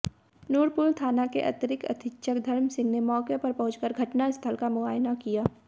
नूरपुर थाना के अतिरिक्त अधीक्षक धर्म सिंह ने मौके पर पहुंच घटनास्थल का मुआयना किया